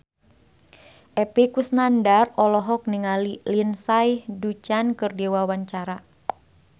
Epy Kusnandar olohok ningali Lindsay Ducan keur diwawancara